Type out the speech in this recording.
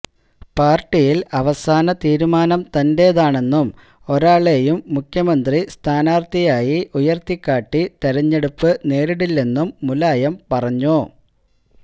പാര്ട്ടിയില് അവസാന തീരുമാനം തന്റേതാണെന്നും ഒരാളെയും മുഖ്യമന്ത്രി സ്ഥാനാര്ത്ഥിയായി ഉയര്ത്തിക്കാട്ടി തെരഞ്ഞെടുപ്പ് നേരിടില്ലെന്നും മുലായം പറഞ്ഞു